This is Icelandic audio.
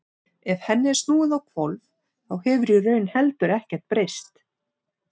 Ef henni er snúið á hvolf þá hefur í raun heldur ekkert breyst.